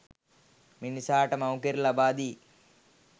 මිනිසාට මව් කිරි ලබා දී